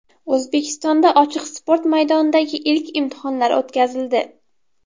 O‘zbekistonda ochiq sport maydonidagi ilk imtihonlar o‘tkazildi.